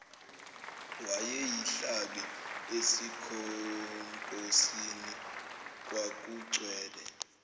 wayeyihlabe esikhonkosini kwakugcwele